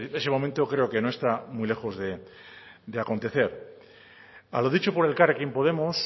pues ese momento creo que no está muy lejos de acontecer a lo dicho por elkarrekin podemos